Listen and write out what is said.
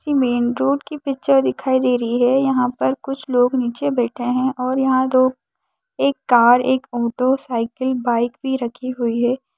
ये main road की picture की दिखाई दे रही है यहाँ पर कुछ लोग नीचे बैठे है और यहाँ लोग एक कार एक ऑटो साइकिल बाइक भी रखी हुई हैं ।